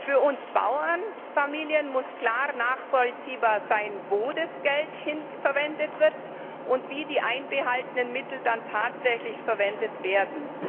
Für unsere Bauernfamilien muss klar nachvollziehbar sein, wofür das Geld verwendet wird und wie die einbehaltenen Mittel dann tatsächlich verwendet werden.